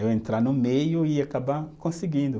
Eu entrar no meio e acabar conseguindo.